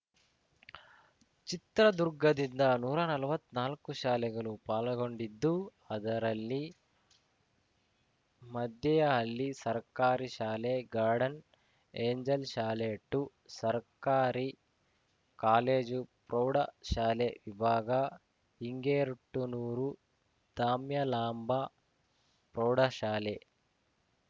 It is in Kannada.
ಚಿತ್ರದುರ್ಗದಿಂದ ನೂರಾ ನಲ್ವತ್ ನಾಲ್ಕು ಶಾಲೆಗಳು ಪಾಲ್ಗೊಂಡಿದ್ದು ಅದರಲ್ಲಿ ಮೆದ್ದೆಹಳ್ಳಿ ಸರ್ಕಾರಿ ಶಾಲೆ ಗಾರ್ಡಿನ್‌ ಏಂಜೆಲ್‌ ಶಾಲೆಟು ಸರ್ಕಾರಿ ಕಾಲೇಜುಪ್ರೌಢಶಾಲೆ ವಿಭಾಗ ಹಿಂಗೇರ್ಟ್ನೂರು ದಾಮ್ಯಲಾಂಬ ಪ್ರೌಢಶಾಲೆ